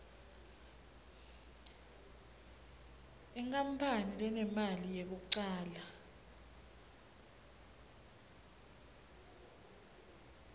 inkapani lenemali yekucala